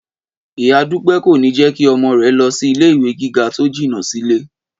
Ìyá Dúpẹ́ kò ní jẹ́ kí ọmọ rẹ̀ lọ sí ilé ìwé gíga tó jìnà sílé